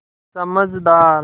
समझदार